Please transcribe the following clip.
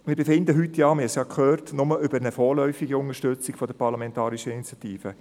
Wir befinden heute, wie wir gehört haben, nur über eine vorläufige Unterstützung dieser parlamentarischen Initiative.